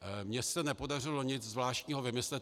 Mně se nepodařilo nic zvláštního vymyslet.